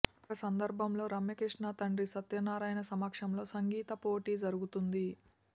ఒక సందర్భంలో రమ్యకృష్ణ తండ్రి సత్యనారాయణ సమక్షంలో సంగీత పోటీ జరుగుతుంది